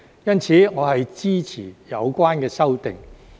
因此，我支持有關修訂。